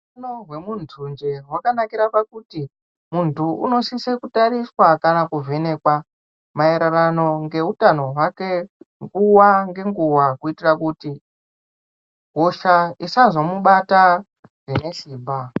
Utano wemuntu njee wakanakira pakuti muntu unosise kutariswa kana kuvhenekwa maererano ngeutano wake nguwa ngenguwa kuitira kuti hosha isazomubata zvine simba.